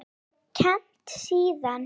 Ég hef kennt síðan.